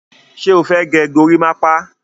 Ṣé o fẹ́ gẹ gorímápá?